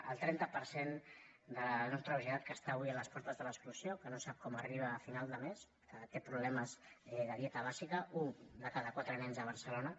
el trenta per cent de la nostra societat que està avui a les portes de l’exclusió que no sap com arriba a final de mes que té problemes de dieta bàsica un de cada quatre nens a barcelona